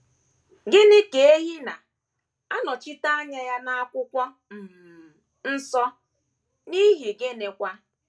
Gịnị ka ehi na - anọchite anya ya n’Akwụkwọ um Nsọ, n’ihi gịnịkwa?